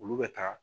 Olu bɛ taa